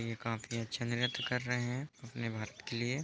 ये काफी अच्छा नृत्य कर रहे है अपने भारत के लिए।